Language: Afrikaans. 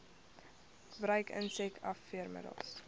gebruik insek afweermiddels